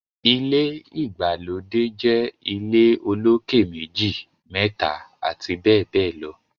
ilé ìgbàlódé jé ilé olokè meji, méta abbl